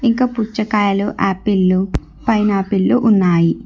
ఇంక పుచ్చకాయలు ఆపిల్లు పైనాపిల్లు ఉన్నాయి